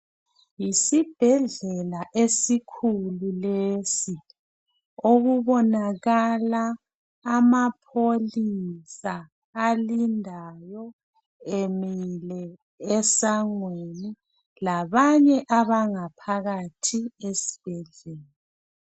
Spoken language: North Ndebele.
yisibhedlela esikhulu lesi okubonakala amapholisa alindayo emile esangweni labanye abangaphakathi esibhedlela